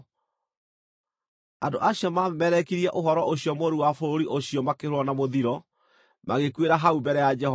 andũ acio mamemerekirie ũhoro ũcio mũũru wa bũrũri ũcio makĩhũũrwo na mũthiro, magĩkuĩra hau mbere ya Jehova.